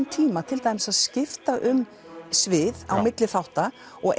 tíma til dæmis að skipta um svið milli þátta og